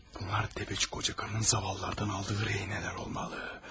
Bunlar dədəçi qoca qarının zavallılardan aldığı, ürəyinə nələr olmalı.